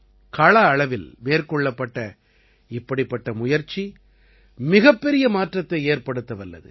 கள அளவில் மேற்கொள்ளப்பட்ட இப்படிப்பட்ட முயற்சி மிகப் பெரிய மாற்றத்தை ஏற்படுத்த வல்லது